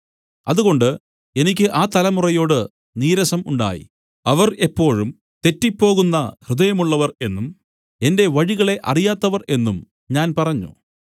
അതുകൊണ്ട് എനിക്ക് ആ തലമുറയോട് നീരസം ഉണ്ടായി അവർ എപ്പോഴും തെറ്റിപ്പോകുന്ന ഹൃദയമുള്ളവർ എന്നും എന്റെ വഴികളെ അറിയാത്തവർ എന്നും ഞാൻ പറഞ്ഞു